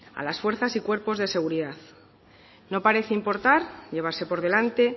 a las fuerzas y cuerpos de seguridad no parece importar llevarse por delante